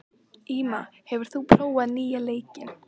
Íma, hefur þú prófað nýja leikinn?